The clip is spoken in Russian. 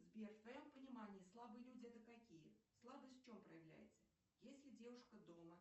сбер в твоем понимание слабые люди это какие слабость в чем проявляется если девушка дома